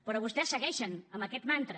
però vostès segueixen amb aquest mantra